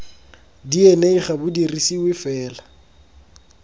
dna ga bo dirisiwe fela